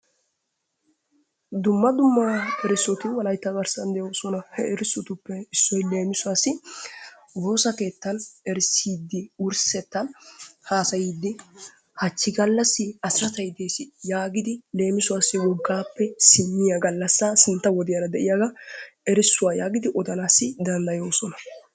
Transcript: dumma dumma erissoti wolaytta garssan de'oosona. he erissotuppe issoy woossa keettan erisssidi wurssettan haassayyidi hachchi gallassi asirattay dees yaagidi leemissuwassi woggappe simmiyaa gallassa sintta wodiyaara de'iyaaga erissuwaa yaagidi odanayyo danddayoosona.